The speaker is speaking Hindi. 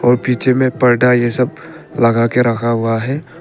और पीछे में पर्दा ये सब लगा के रखा हुआ है।